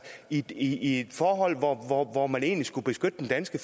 i et forhold hvor hvor man egentlig skulle beskytte den danske